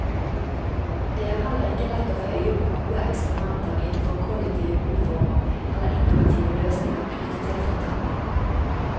Det er heller ikke lett å få øye på gode eksperimenter innenfor kollektive boformer eller innovative løsninger knyttet til fortetning.